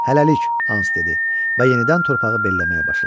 Hələlik, Hans dedi və yenidən torpağı belləməyə başladı.